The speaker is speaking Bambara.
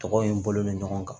Tɔgɔw in bolo bɛ ɲɔgɔn kan